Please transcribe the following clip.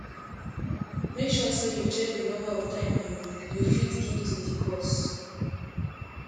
make sure say you check the number of time you you fit give to di cause